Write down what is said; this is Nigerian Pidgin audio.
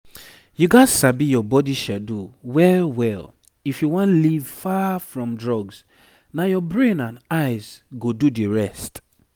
you gats sabi your body schedule well well if you wan leave far from drugs na your brain and eyes go do the rest